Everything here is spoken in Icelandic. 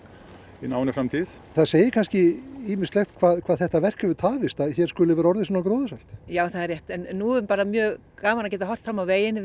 í náinni framtíð það segir kannski ýmislegt um hvað þetta verk hefur tafist að hér skuli vera orðið svona gróðursælt já það er rétt en nú er bara mjög gaman að geta horft fram á veginn